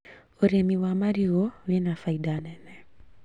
ũrĩmi wa marigũ wĩna baida nene